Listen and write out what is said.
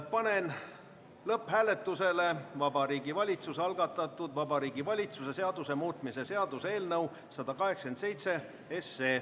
Panen lõpphääletusele Vabariigi Valitsuse algatatud Vabariigi Valitsuse seaduse muutmise seaduse eelnõu 187.